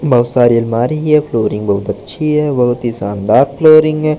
बहुत सारी अलमारी है ये फ्लोरिंग बहुत अच्छी है बहुत ही शानदार फ्लोरिंग है।